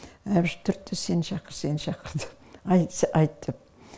әбіш түртті сен шақыр сен шақыр деп айтсай айт деп